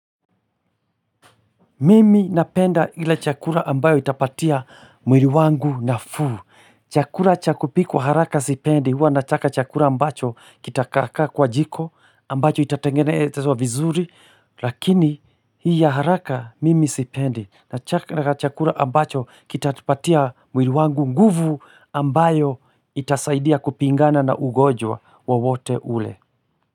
Mimi napenda ila chakula ambayo itapatia mwili wangu nafuu. Chakula cha kupikwa haraka sipendi. Huwa nataka chakula ambacho kitakaa kaa kwa jiko. Ambacho itatengenezwa vizuri. Lakini hii ya haraka mimi sipendi. Nataka chakula ambacho kitapatia mwili wangu nguvu ambayo itasaidia kupigana na ugonjwa wowote ule.